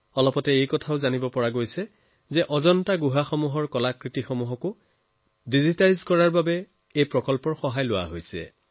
অতি সম্প্ৰতি এইটোও জনা গৈছে যে অজন্তা গুহাৰ সম্পদৰাজিকো ডিজিটাইজ কৰি এই প্ৰকল্পত জড়িত কৰা হৈছে